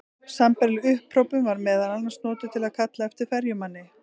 Sambærileg upphrópun var meðal annars notuð til að kalla eftir ferjumanni.